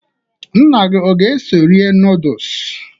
Nna gị aga-eso rie nọọdụs?